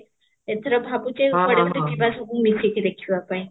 ଏଥର ଭାବୁଛି କୁଆଡେ ଗୋଟେ ଯିବା ସବୁ ମିସିକି ଦେଖିବା ପାଇଁ